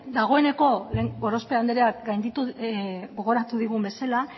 dagoeneko gorospe andreak gogoratu digun bezala